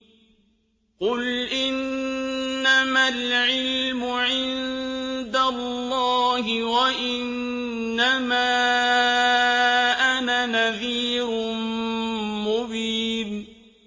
قُلْ إِنَّمَا الْعِلْمُ عِندَ اللَّهِ وَإِنَّمَا أَنَا نَذِيرٌ مُّبِينٌ